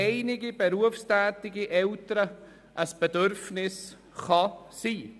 Mit diesem Votum gehen wir in die Mittagspause.